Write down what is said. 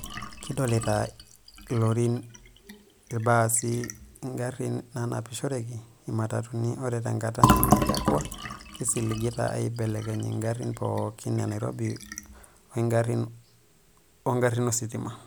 Kidolita ilorin, ilbasii, iingarin naanapishoroki, imatatuni ore tenkata nemelakua kisiligita aaibelekeny iingarin pooki e Nairobi o iingarin ositima.